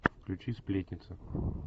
включи сплетница